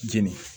Jeni